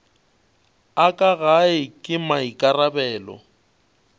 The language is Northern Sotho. a ka gae ke maikarabelo